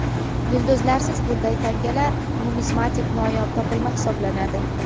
Yulduzlarsiz bunday tangalar numizmatik noyob topilma hisoblanadi.